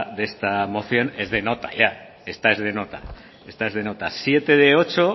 de esta moción es de nota ya esta es de nota esta es de nota siete de ocho